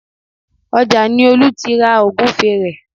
Ọjà ni Olú ti ra Ògúfe rẹ̀